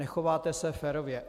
Nechováte se férově.